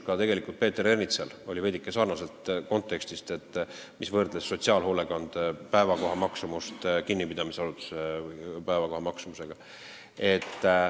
Ka Peeter Ernitsal oli veidike sarnase kontekstiga küsimus, mis võrdles sotsiaalhoolekande kohamaksumust kinnipidamisasutuse kohamaksumusega.